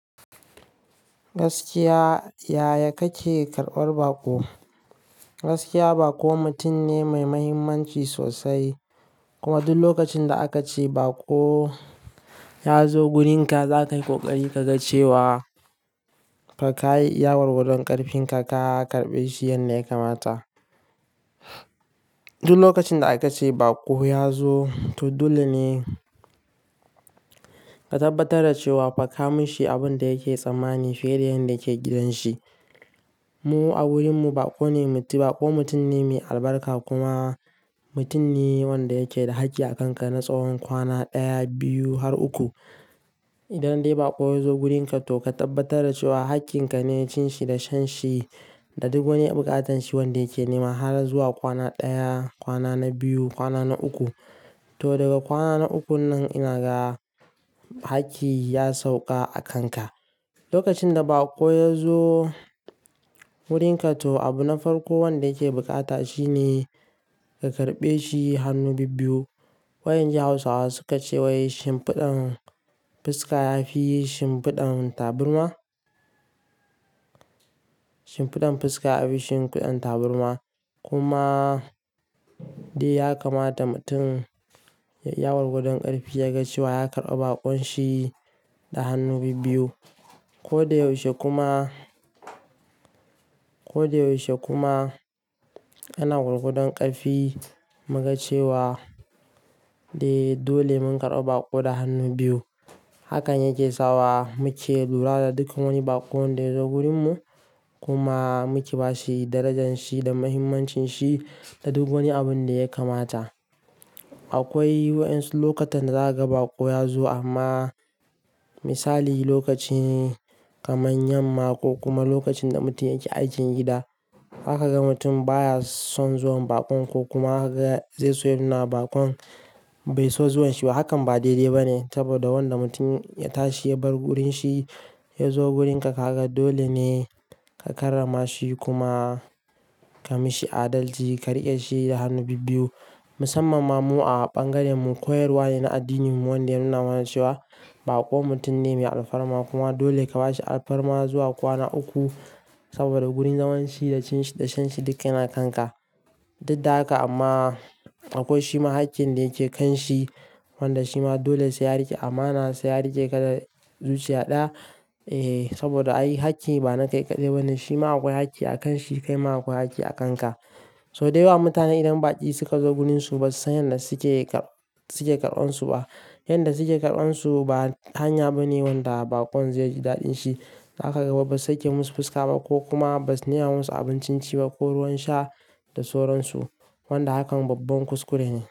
Gaskiya yaya kake karɓar baƙo? Gaskiya baƙo mutum ne mai mahimmanci sosai kuma duk lokacin da aka ce baƙo ya zo wurinka, za ka yi ƙoƙari ka ga cewa ka yi iyawar gadon ƙarfin ka, ka karɓe shi yadda ya kamata. Duk lokacin da aka ce baƙo ya zo, to dole ne ka tabbatar da cewa ka kamshi abin da yake tsammani fiye da yanda yake gidan shi. Mu a wurin mu baƙo ne bako mutum ne mai albarka kuma mutum ne wanda yake da haƙƙi a kanka na tsawon kwana ɗaya, biyu har uku. Idan dai baƙo ya zo wurin ka, to ka tabbatar da cewa haƙƙin ka ne cin shi da shan shi da duk wani buƙatan shi wanda yake nema har zuwa kwana ɗaya, kwana na biyu, kwana na uku. To daga kwana na uku nan ina ga haƙƙi ya sauƙa a kanka. Lokacin da baƙo ya zo wurin ka, to abu na farko wanda yake bukata shine ka karɓe shi hannu bibiyu. Wayan jiha Hausawa suka ce wai shin fiɗan fuska ya fi shin fiɗan taburma? Shin fiɗan fuska ya fi shin fiɗan taburma? Kuma dai ya kamata mutum ya yi iyawar gadon ƙarfi, ya ga cewa ya karɓa bakon shi da hannu bibiyu. Ko da yaushe kuma, ko da yaushe kuma ana gurguɗon ƙafi mu ga cewa dai dole mun karɓa baƙo da hannu biyu. Hakan yake sawa muke lura da duka wani baƙon da ya zo wurin mu kuma muke ba shi darajan shi da mahimmancin shi da duk wani abin da ya kamata. Akwai wayansu lokutan da za ka ga baƙo ya zo amma misali lokaci kamar yamma ko kuma lokacin da mutum yake aikin gida. Zaka ga mutum baya son zuwan bakon ko kuma haka ga zai so yana bakon bai so zuwan shi ba. Hakan ba daidai ba ne saboda wanda mutum ya tashi ya bar wurin shi ya zo wurin ka, haka dole ne ka karrama shi kuma ka mishi adalci, ka riƙe shi da hannu bibiyu. Musamman ma mu a bangaren mu, koyarwa ne na addininmu wanda yana mana cewa baƙo mutum ne mai alfarma kuma dole ka ba shi alfarma zuwa kwana uku saboda wurin zaman shi da cin shi da shan shi duk yana kanka. Duk da haka amma akwai shi ma haƙƙin da yake kan shi wanda shi ma dole sai ya riƙe amana sa, ya riƙe kada zuciya ɗaya. E, saboda a yi haƙƙi bana kai kaɗai. Wannan shi ma akwai haƙƙi a kan shi, kai ma akwai haƙƙi a kanka. Sau da yawa mutane idan baƙi suka zo gunin su, ba su san yanda suke, suke karɓan su ba. Yanda suke karɓan su, ba hanya ba ne wanda bakon zai ji daɗin shi. Zaka gaba ba su saki musu fuska ba ko kuma ba su nuna musu abincin ci ba ko ruwan sha da sauran su wanda hakan babban kuskure ne.